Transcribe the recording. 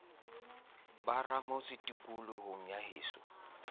ba ramotse tikolohong ya heso